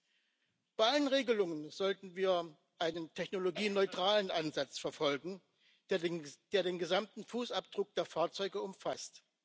Bei allen Regelungen sollten wir einen technologieneutralen Ansatz verfolgen, der den gesamten Fußabdruck der Fahrzeuge umfasst.